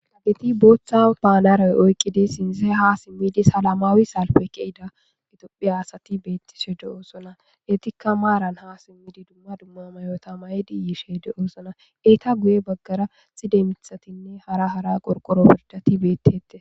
Ageti booththa paanaray oyqqidi sinze ha simmidi salamaawi saalfe keyida itophi asati beettise de7oosona etikka maaran ha simmidi dumma dumma mayota may7di yiishe de7oosona eyta guye baggara sidemithatinne hara hara qorqoro pirdati bettete.